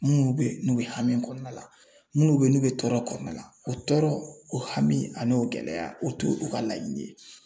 Minnu be yen n'u be hami kɔnɔna la minnu be yen n'u be tɔɔrɔ kɔnɔna la o tɔɔrɔ o hami a n'o gɛlɛya o t'olu ka laɲini ye